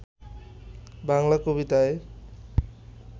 বাংলা কবিতায়